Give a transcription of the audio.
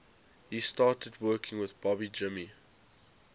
he started working with bobby jimmy